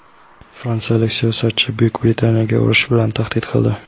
Fransiyalik siyosatchi Buyuk Britaniyaga urush bilan tahdid qildi.